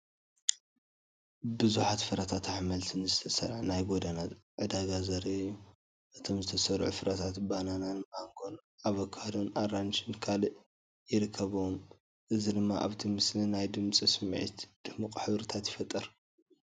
ብዙሓት ፍረታትን ኣሕምልትን ዝተሰርዐ ናይ ጎደና ዕዳጋ ዘርኢ እዩ። እቶም ዝተሰርዑ ፍረታት ባናናን ማንጎ ን ኣቮካዶ ን ኣራንሺን ካልእን ይርከብዎም። እዚ ድማ ኣብቲ ምስሊ ናይ ድምጺ ስምዒትን ድሙቕ ሕብርታትን ይፈጥር።